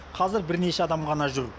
қазір бірнеше адам ғана жүр